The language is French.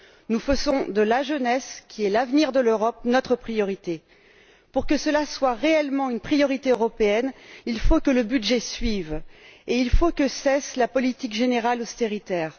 Nous faisons de la jeunesse, qui est l'avenir de l'Europe, notre priorité. Pour que cela soit réellement une priorité européenne, il faut que le budget suive et il faut que cesse la politique générale austéritaire.